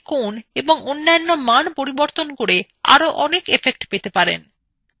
আপনি কোণ এবং অন্যান্য মান পরিবর্তন করে আরো অনেক effects পেতে পারেন